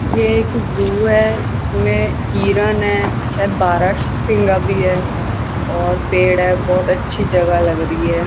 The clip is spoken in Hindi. यह एक जू है इसमें हिरण है शायद बारासिंघा भी है और पेड़ है बहुत अच्छी जगह लग रही है।